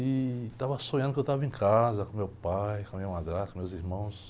E estava sonhando que eu estava em casa, com meu pai, com a minha madrasta, com meus irmãos.